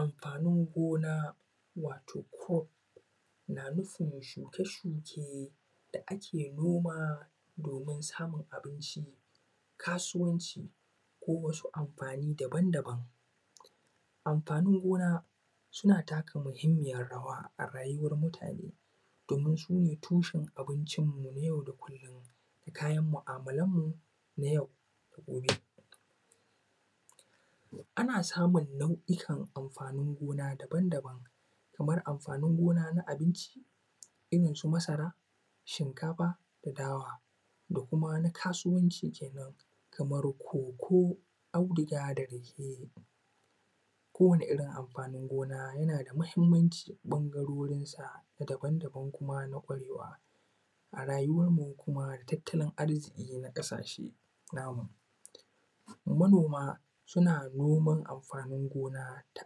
Amfanin gona wato “crop” na nufin shuke shuke da ake noma domin samun abinci, kasuwanci ko wasu amfani daban daban amfanin gona suna taka muhimmiyarrawa a rayuwar mutane domin sune tushen abincin mu na yau da kullum, kayan mu`amalanmu na yau da gobe, ana samun nau`ikan amfanin gona daban daban kamar amfanin gona na abinci irin su masara, shinkafa da dawa da kuma na kasuwanci kenan, kamar “cocoa” audiga da rake kowani irin amfanin gona yana da mahimmanci ɓangarorin sa daban daban kuma na ƙwarewa a rayuwan mu kuma a tattalin arziƙi na ƙasashe na mu manoma suna noman amfanin gona da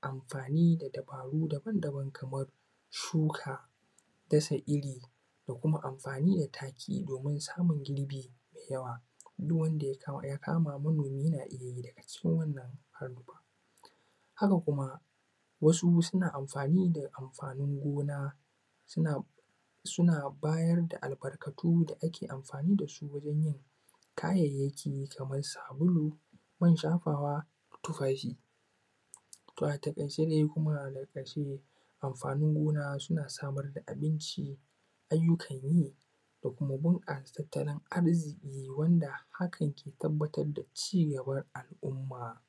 amfani da dabaru daban daban kamar shuka dasa iri da kuma amfani da taki domin samun girbi mai yawa duk wanda ya kama manomi yana iya yi daga cikin wannan, haka kuma wasu suna amfani da amfanin gona suna bayar da albarkatu da ake amfani da su wajen yin kayayyaki kamar sabulu, man shafawa, tufafi, to a taƙaice dai ko kuma a ƙarshe amfanin gona suna samar da abinci, aiyukan yi da kuma bunƙasa tattalin arziƙi wanda hakan ke tabbatar da ci gaban al`umma.